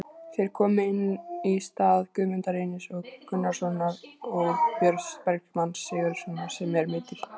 Þeir komu inn í stað Guðmundar Reynis Gunnarssonar og Björns Bergmanns Sigurðarsonar sem eru meiddir.